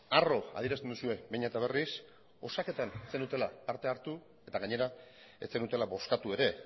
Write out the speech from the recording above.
arro adierazten duzue behin eta berriz osaketan ez zenuela parte hartu eta gainera ez zenutela bozkatu ere